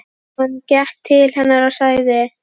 Hann gekk til hennar og sagði